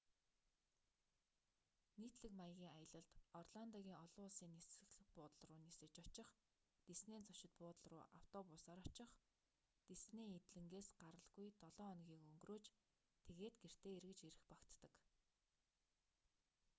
нийтлэг маягийн аялалд орландогийн олон улсын нисэх буудал руу нисэж очих диснейн зочид буудал руу автобусаар очих диснейн эдлэнгээс гаралгүй долоо хоногийг өнгөрөөж тэгээд гэртээ эргэж ирэх багтдаг